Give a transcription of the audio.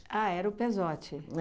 Ah, era o Pezzotti?